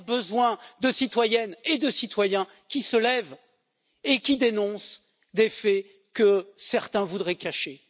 Elle a besoin de citoyennes et de citoyens qui se lèvent et qui dénoncent des faits que certains voudraient cacher.